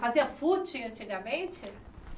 Fazia fute antigamente?